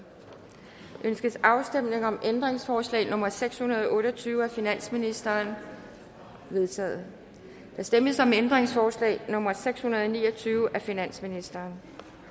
ønskes afstemning om ændringsforslag nummer seks hundrede og otte og tyve af finansministeren det er vedtaget der stemmes om ændringsforslag nummer seks hundrede og ni og tyve af finansministeren